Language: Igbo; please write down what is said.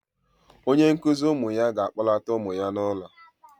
Onye nkụzi ụmụ ya ga-akpọlata ụmụ ya n'ụlọ